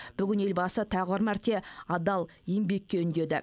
бүгін елбасы тағы бір мәрте адал еңбекке үндеді